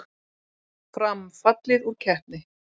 Fram fallið úr keppni